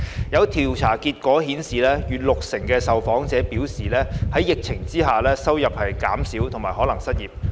有調查結果顯示，逾六成受訪者表示在疫情下收入減少及可能失業。